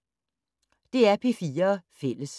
DR P4 Fælles